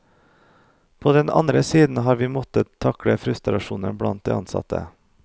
På den andre siden har vi måttet takle frustrasjonen blant de ansatte.